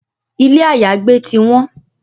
Ilé àyágbé ti won